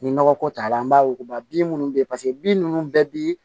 Ni nɔgɔ ko t'a la an b'a wuguba bin minnu bɛ yen paseke bin ninnu bɛɛ bi